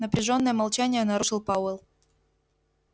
напряжённое молчание нарушил пауэлл